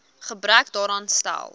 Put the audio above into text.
gebrek daaraan stel